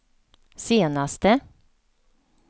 senaste